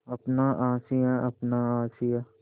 अपना आशियाँ अपना आशियाँ